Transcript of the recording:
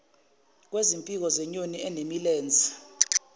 kwezimpiko zenyoni enemilenze